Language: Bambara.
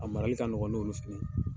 A marali ka nɔgɔn n'olu fɛnɛ ye.